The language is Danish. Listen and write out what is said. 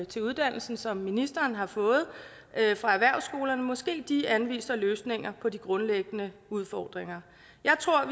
til uddannelsen som ministeren har fået fra erhvervsskolerne måske de anviser løsninger på de grundlæggende udfordringer jeg tror